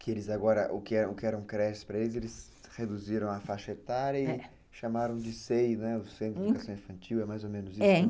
Que eles agora, o que eram creches para eles, eles reduziram a faixa etária e chamaram de CEI, o Centro de Educação Infantil, é mais ou menos isso, é.